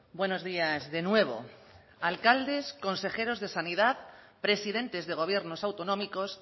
buenos días de nuevo alcaldes consejeros de sanidad presidentes de gobiernos autonómicos